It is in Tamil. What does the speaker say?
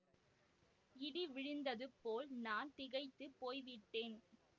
இடி விழுந்தது போல் நான் திகைத்து போய் விட்டேன்